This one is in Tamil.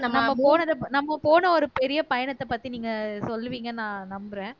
நம்ம போனது நம்ம போன ஒரு பெரிய பயணத்தை பத்தி நீங்க சொல்லுவீங்கன்னு நான் நம்புறேன்